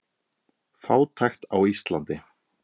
Fátækt á Íslandi